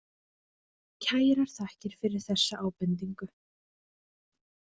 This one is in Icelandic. Kærar þakkir fyrir þessa ábendingu.